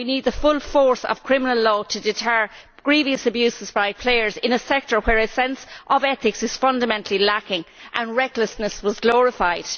We need the full force of criminal law to deter grievous abuses by players in a sector where a sense of ethics is fundamentally lacking and recklessness has been glorified.